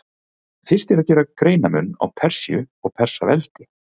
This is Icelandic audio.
Fyrst er að gera greinarmun á Persíu og Persaveldi.